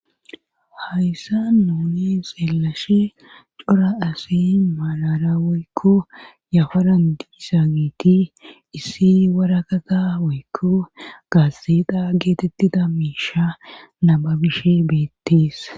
Hayssa nuni seelashe cora asi malara woykko yafaran diisa giiti issi warakata woykko gaasseeda geetettida miisha namabishe beettees.